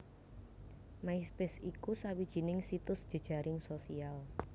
MySpace iku sawijining situs jejaring sosial